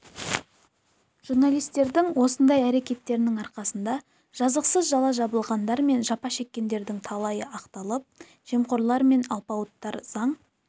журналистердің осындай әрекеттерінің арқасында жазықсыз жала жабылғандар мен жапа шеккендердің талайы ақталып жемқорлар мен алпауыттар заң